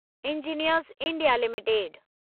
engineers India limited